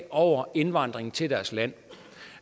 over indvandringen til deres land